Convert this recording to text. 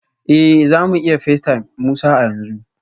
Eh za mu iya facetime Musa a yanzu